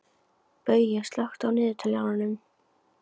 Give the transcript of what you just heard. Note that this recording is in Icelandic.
Baui, slökktu á niðurteljaranum.